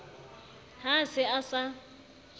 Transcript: ha a se a sa